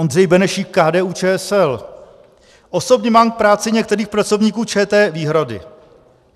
Ondřej Benešík, KDU-ČSL: Osobně mám k práci některých pracovníků ČT výhrady.